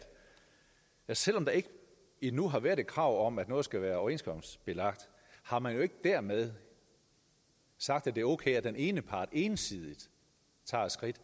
selv om der ikke endnu har været et krav om at noget skal være overenskomstbelagt har man jo ikke dermed sagt at det er okay at den ene part ensidigt tager et skridt